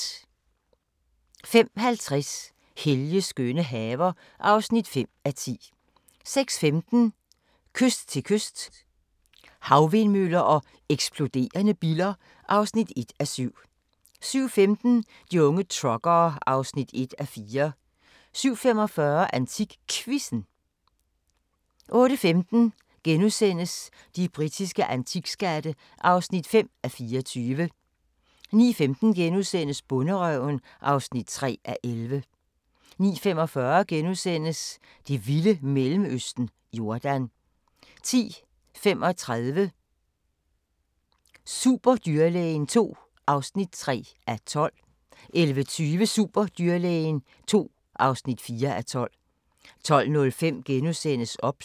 05:50: Helges skønne haver (5:10) 06:15: Kyst til kyst – Havvindmøller og eksploderende biller (1:7) 07:15: De unge truckere (1:4) 07:45: AntikQuizzen 08:15: De britiske antikskatte (5:24)* 09:15: Bonderøven (3:11)* 09:45: Det vilde Mellemøsten – Jordan * 10:35: Superdyrlægen II (3:12) 11:20: Superdyrlægen II (4:12) 12:05: OBS *